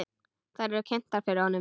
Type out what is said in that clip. Þær eru kynntar fyrir honum.